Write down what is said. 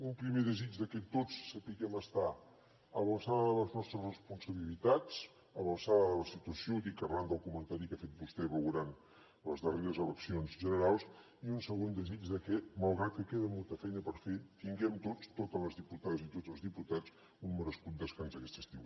un primer desig que tots sapiguem estar a l’alçada de les nostres responsabilitats a l’alçada de la situació ho dic arran del comentari que ha fet vostè arran les darreres eleccions generals i un segon desig de que malgrat que queda molta feina per fer tinguem tots totes les diputades i tots els diputats un merescut descans aquest estiu